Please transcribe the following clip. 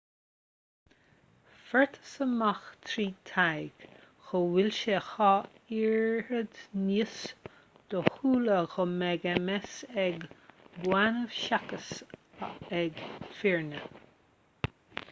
fuarthas amach trí ​thaighde go bhfuil sé a dhá oiread níos dóchúla go mbeidh ms ag baineannaigh seachas ag fireannaigh